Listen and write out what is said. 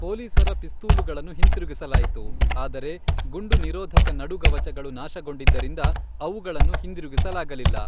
ಪೊಲೀಸರ ಪಿಸ್ತೂಲುಗಳನ್ನು ಹಿಂತಿರುಗಿಸಲಾಯಿತು, ಆದರೆ ಗುಂಡು ನಿರೋಧಕ ನಡುಗವಚಗಳು ನಾಶಗೊಂಡಿದ್ದರಿಂದ ಅವುಗಳನ್ನು ಹಿಂದಿರುಗಿಸಲಾಗಲಿಲ್ಲ.